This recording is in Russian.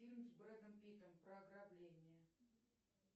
фильм с брэдом питтом про ограбление